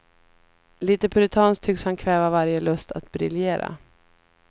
Lite puritanskt tycks han kväva varje lust att briljera.